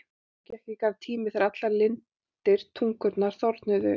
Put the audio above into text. Nú gekk í garð tími þegar allar lindir tungunnar þornuðu upp.